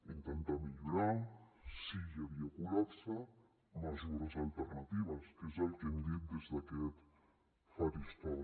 intentar millorar si hi havia col·lapse mesures alternatives que és el que hem dit des d’aquest faristol